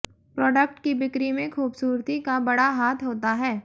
product की बिक्री में खूबसूरती का बड़ा हाथ होता है